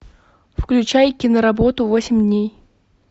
включай киноработу восемь дней